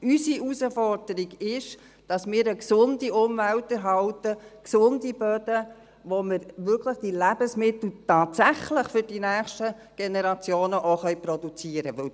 Unsere Herausforderung ist, dass wir eine gesunde Umwelt erhalten, gesunde Böden, auf welchen wir die Lebensmittel für die nächsten Generationen auch tatsächlich produzieren können.